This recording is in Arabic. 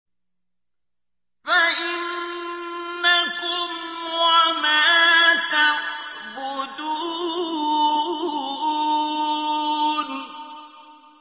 فَإِنَّكُمْ وَمَا تَعْبُدُونَ